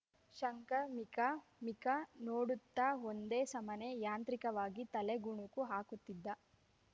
ಶಂಕರ್‌ ಮಿಕ ಮಿಕ ನೋಡುತ್ತ ಒಂದೆ ಸಮನೆ ಯಾಂತ್ರಿಕವಾಗಿ ತಲೆ ಗುಣುಕು ಹಾಕುತ್ತಿದ್ದ